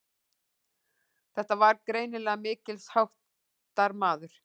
Þetta var greinilega mikilsháttar maður.